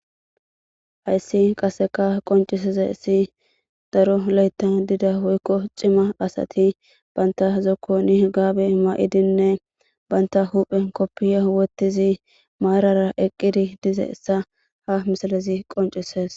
Hayssi qaseka qoncisiza issi daro layta dida woykko cima asati baynta zokko ni gaabe ma'idinne baynta huphe koppiya wottizi maarara eqqidi dize essa ha misalezi qoncises.